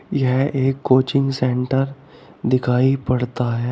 यह एक coaching centre दिखाई पड़ता है।